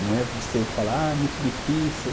Não é você falar, ah, é muito difícil.